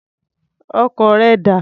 Ọkọ̀ rẹ dà?